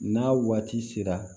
N'a waati sera